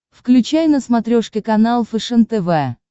включай на смотрешке канал фэшен тв